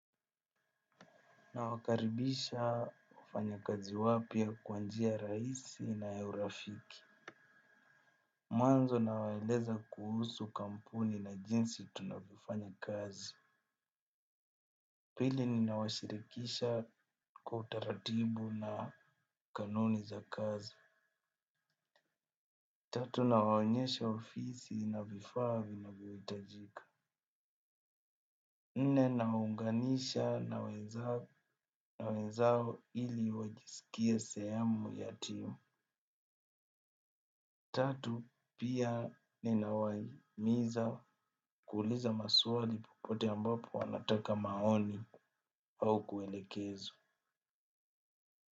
Nawakaribisha wafanyakazi wapya kwa njia rahisi na ya urafiki. Mwanzo nawaeleza kuhusu kampuni na jinsi tunavyofanya kazi. Pili ninawashirikisha kwa utaratibu na kanuni za kazi. Tatu nawaonyesha ofisi na vifaa vinvyohitajika nne nawaunganisha na wenzao ili wajisikie sehemu ya team. Tatu, pia ninawahimiza kuuliza maswali popote ambapo wanataka maoni au kuelekezwa.